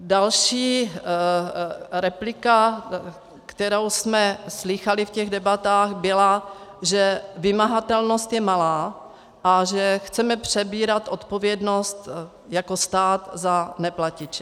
Další replika, kterou jsme slýchali v těch debatách, byla, že vymahatelnost je malá a že chceme přebírat odpovědnost jako stát za neplatiče.